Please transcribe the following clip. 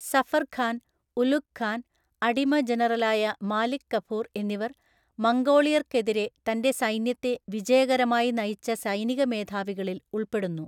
സഫർ ഖാൻ, ഉലുഗ് ഖാൻ, അടിമ ജനറലായ മാലിക് കഫൂർ എന്നിവർ മംഗോളിയർക്കെതിരെ തന്റെ സൈന്യത്തെ വിജയകരമായി നയിച്ച സൈനിക മേധാവികളിൽ ഉൾപ്പെടുന്നു.